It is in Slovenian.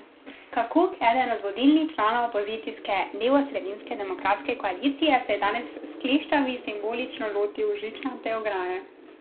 Kakuk, eden od vodilnih članov opozicijske levosredinske Demokratske koalicije, se je danes s kleščami simbolično lotil žičnate ograje.